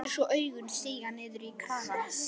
Og lætur svo augun síga niður á kragann.